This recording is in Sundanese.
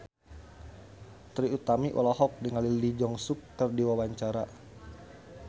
Trie Utami olohok ningali Lee Jeong Suk keur diwawancara